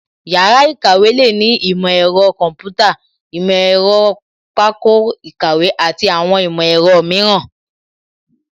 Yàrá ìkàwé lè ní ìmọ̀ ẹ̀rọ kọ̀ḿpútà, ìmọ̀ ẹ̀rọ pákó ìkàwé àti àwọn ìmọ̀ ẹ̀rọ mìíràn